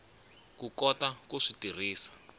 ku kota ku swi tirhisa